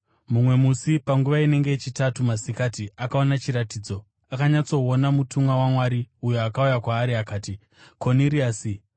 Mumwe musi panguva inenge yechitatu masikati akaona chiratidzo. Akanyatsoona mutumwa waMwari, uyo akauya kwaari akati, “Koniriasi!”